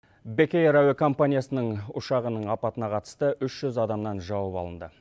бек эйр әуекомпаниясының ұшағының апатына қатысты үш жүз адамнан жауап алынды